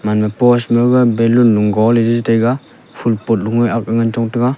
enu pos magaga balun nu go le chi tei ga ful pot lung e ak le ngan chong tega.